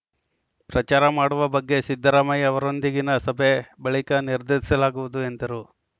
ಪ್ರಚಾರ ಮಾಡುವ ಬಗ್ಗೆ ಸಿದ್ದರಾಮಯ್ಯ ಅವರೊಂದಿಗಿನ ಸಭೆ ಬಳಿಕ ನಿರ್ಧರಿಸಲಾಗುವುದು ಎಂದರು